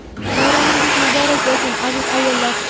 Bayramingiz muborak bo‘lsin, aziz ayollar!.